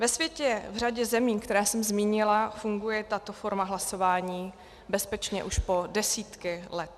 Ve světě v řadě zemí, které jsem zmínila, funguje tato forma hlasování bezpečně už po desítky let.